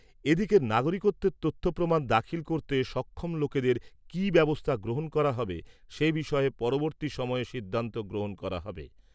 এদিকের নাগরিকত্বের তথ্য প্রমাণ দাখিল করতে সক্ষম লোকেদের কি ব্যবস্থা গ্রহন করা হবে সে বিষয়ে পরবর্তী সময়ে সিদ্ধান্ত গ্রহণ করা হবে।